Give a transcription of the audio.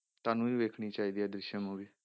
ਤੁਹਾਨੂੰ ਵੀ ਵੇਖਣੀ ਚਾਹੀਦੀ ਹੈ ਦ੍ਰਿਸ਼ਿਅਮ movie